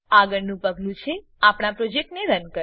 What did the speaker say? આગળનું પગલું છે આપણા પ્રોજેક્ટને રન કરવું